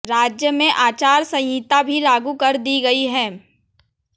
राज्य में आचार संहिता भी लागू कर दी गई है